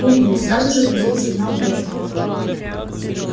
умру сразу же пойдёт сигнал в органы